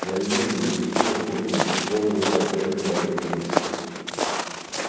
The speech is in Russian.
я вижу вы всё купили полный комплект моих книг